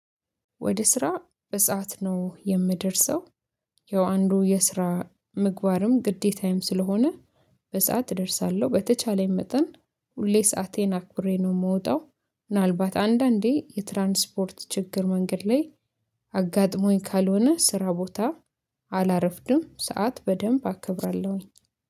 ወደ ስራ በሰአት ነው የምደርሰው። ያው አንዱ የስራ ምግባርም ግዴታም ስለሆነ። በሰአት እደርሳለሁ በተቻለኝ መጠን ሁሌ ሰአቴን አኩሬ ነው የምወጣው። ምናልባት አንዳንዴ የትራንስፖርት ችግር መንገድ ላይ አጋጥሞኝ ካልሆነ ስራ ቦታ አላረፍድም። ሰዓት በደንብ አከብራለሁኝ